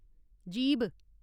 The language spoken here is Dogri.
जीह्ब